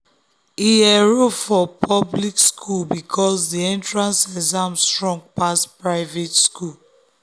him enroll for public school because the entrance exam strong pass private schools.